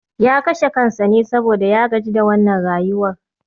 Ya kashe kansa ne saboda ya gaji da wannan rayuwar